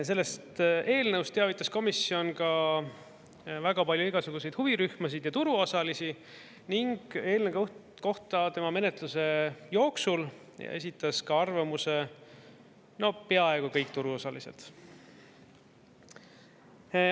Sellest eelnõust teavitas komisjon ka väga palju igasuguseid huvirühmasid ja turuosalisi ning eelnõu kohta tema menetluse jooksul esitasid arvamuse peaaegu kõik turuosalised.